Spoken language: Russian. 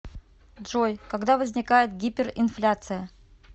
джой когда возникает гиперинфляция